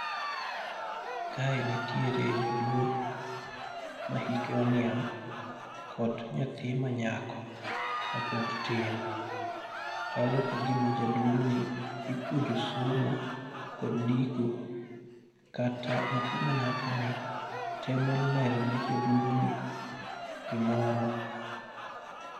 Kae nitiere jaduong' mahike oniang' kod nyathi manyako mapod tin, chalo kagima jaduong' ni ipuonjo somo kod ndiko, kata nyathi manyakoni temo lerone jaduong'ni gimoro.